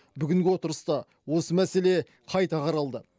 бүгінгі отырыста осы мәселе қайта қаралды